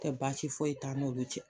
Tɛ baasi foyi t'a n'olu cɛ